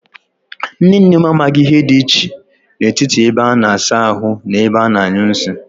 Nne nne m amaghi ihe di iche n'etiti ebe a na-asa ahu na ebe a na-anyu nsi.